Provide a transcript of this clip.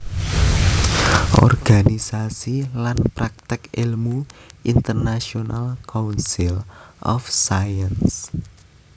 Organisasi lan prakték èlmu International Council of Science